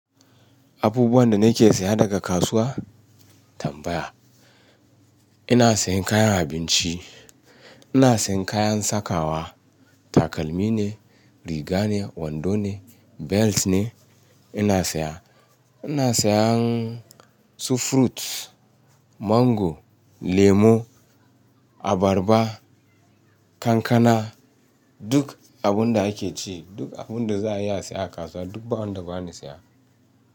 Abubuwan da nake saya daga kasuwa? Tambaya. Ina sayan kayan abinci, ina sayan kayan sakawa, takalmi ne, riga ne, wando ne, belt ne. Ina saya, ina sayan su fruits, mango, lemo, abarba, kankana, duk abun da ake ci, duk abun da za a iya siye a kasuwa duk ba wanda ba ni saya.